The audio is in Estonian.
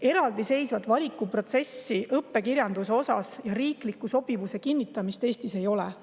Eraldiseisvat õppekirjanduse valiku protsessi ega riiklikku sobivuse kinnitamist Eestis ei ole.